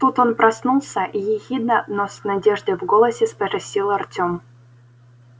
тут он проснулся и ехидно но с надеждой в голосе спросил артём